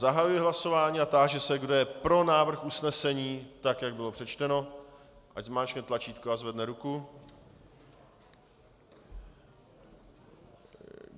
Zahajuji hlasování a táži se, kdo je pro návrh usnesení tak, jak bylo přečteno, ať zmáčkne tlačítko a zvedne ruku.